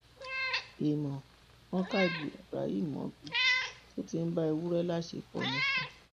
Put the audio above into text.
èèmọ wọn ka ibrahimmobi tó ti ń bá ewúrẹ láṣepọ nifo